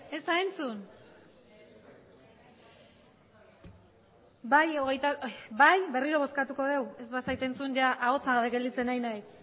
ez da entzun berriro bozkatu dugu ez bazait entzun ia ahotsa gabe gelditzen ari naiz